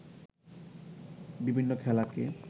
বিভিন্ন খেলাকে